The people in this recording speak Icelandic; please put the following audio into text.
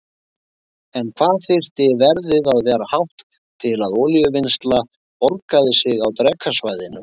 En hvað þyrfti verðið að vera hátt til að olíuvinnsla borgaði sig á Drekasvæðinu?